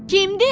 Kimdi?